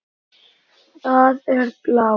Það er blár.